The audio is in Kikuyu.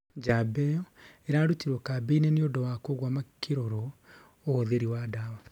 njamba ĩyo ĩrarutirwo kambĩ-inĩ nĩũndũ wa kũgua makĩrorwo ũhuthĩri wa dawa.